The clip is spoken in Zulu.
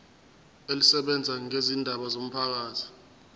elisebenza ngezindaba zomphakathi